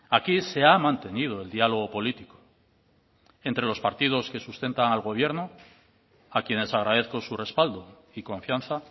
aquí se ha mantenido el diálogo político entre los partidos que sustentan al gobierno a quienes agradezco su respaldo y confianza